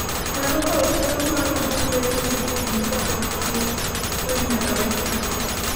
nyalo kawo thuolo mar jumbe kata higni kapok tuo onyiedhore kendo